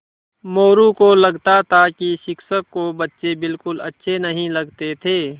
मोरू को लगता था कि शिक्षक को बच्चे बिलकुल अच्छे नहीं लगते थे